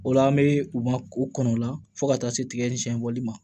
O la an bɛ u ma k'u kɔnɔ o la fo ka taa se tigɛ ni siɲɛ wɔli ma